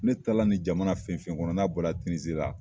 Ne taa la nin jamana fɛn fɛn kɔnɔ n'a bɔ la Tinizi la.